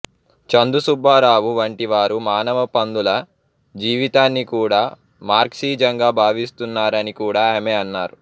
చందు సుబ్బారావు వంటి వారు మానవ పందుల జీవితాన్ని కూడా మార్క్సిజంగా భావిస్తున్నారని కూడా ఆమె అన్నారు